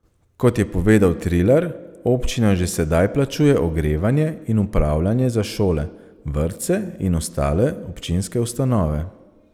Kot je povedal Trilar, občina že sedaj plačuje ogrevanje in upravljanje za šole, vrtce in ostale občinske ustanove.